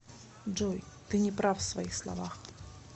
джой ты неправ в своих словах